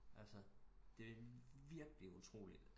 Altså det er virkeligt utroligt